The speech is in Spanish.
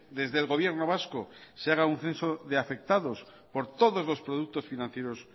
desde el gobierno vasco se haga un censo de afectados por todos los productos financieros